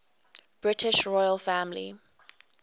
british royal family